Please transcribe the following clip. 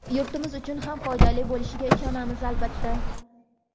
yurtimiz uchun ham foydali bo‘lishiga ishonamiz, albatta.